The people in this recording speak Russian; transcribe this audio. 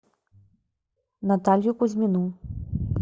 наталью кузьмину